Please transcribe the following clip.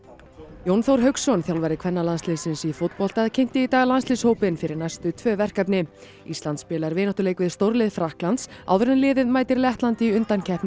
Jón Þór Hauksson þjálfari kvennalandsliðsins í fótbolta kynnti í dag landsliðshópinn fyrir næstu tvö verkefni ísland spilar vináttuleik við stórlið Frakklands áður en liðið mætir Lettlandi í undankeppni